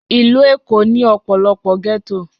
Ìlú Èkó ní ọ̀pọ̀lọpọ̀ ghetto